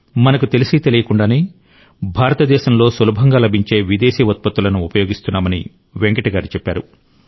మనకు తెలిసీ తెలియకుండానే భారతదేశంలో సులభంగా లభించే విదేశీ ఉత్పత్తులను ఉపయోగిస్తున్నామని వెంకట్ గారు చెప్పారు